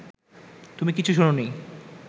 তুমি কিছু শোনোনি